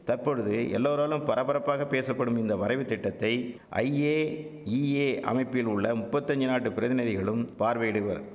தற்பொழுது எல்லோராலும் பரபரப்பாக பேசப்படும் இந்த வரைவுத்திட்டத்தை ஐஏஇஏ அமைப்பில் உள்ள முப்பத்தஞ்சி நாட்டுப் பிரதிநிதிகளும் பார்வையிடுவர்